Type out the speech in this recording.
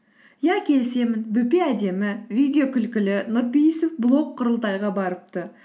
иә келісемін бөпе әдемі видео күлкілі нұрпейісов блог құрылтайға барыпты